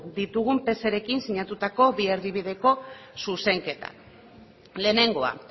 ditugun pserekin sinatutako bi erdibideko zuzenketak lehenengoa